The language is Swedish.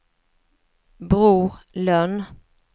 Bror Lönn